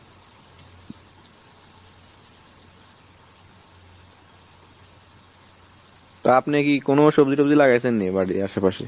তা আপনি কি কোনো সবজি টবাজি লাগাইছেন নাকি ? বাড়ির আসে পাশে,